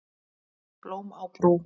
Blóm á brú